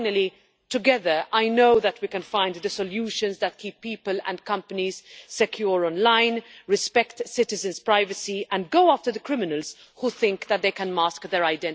Finally, together I know that we can find the solutions that keep people and companies secure online and respect citizens' privacy, and go after the criminals who think that they can mask their identities.